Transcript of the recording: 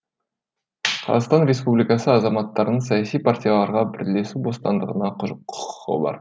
қазақстан республикасы азаматтарының саяси партияларға бірлесу бостандығына құқығы бар